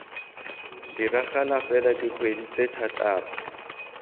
diragala fela dikgwedi tse thataro